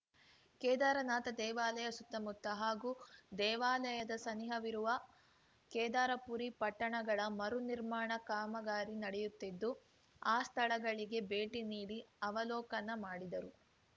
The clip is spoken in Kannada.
ಕೇದಾರನಾಥ ದೇವಾಲಯ ಸುತ್ತಮುತ್ತ ಹಾಗೂ ದೇವಾಲಯದ ಸನಿಹವಿರುವ ಕೇದಾರಪುರಿ ಪಟ್ಟಣಗಳ ಮರುನಿರ್ಮಾಣ ಕಾಮಗಾರಿ ನಡೆಯುತ್ತಿದ್ದು ಆ ಸ್ಥಳಗಳಿಗೆ ಭೇಟಿ ನೀಡಿ ಅವಲೋಕನ ಮಾಡಿದರು